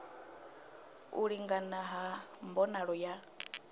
u lingana ha mbonalo ya